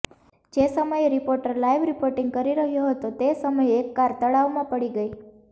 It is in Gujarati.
જે સમયે રિપોર્ટર લાઇવ રિપોર્ટીંગ કરી રહ્યો હતો તે સમયે એક કાર તળાવમાં પડી ગઇ